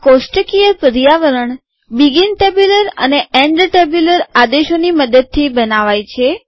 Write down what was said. આ કોષ્ટકીય પર્યાવરણ બીગીન ટેબ્યુલર અને એન્ડ ટેબ્યુલર આદેશોની મદદથી બનાવાય છે